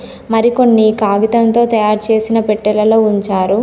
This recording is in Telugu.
మరికొన్ని కాగితంతో తయారుచేసిన పెట్టెలలో ఉంచారు.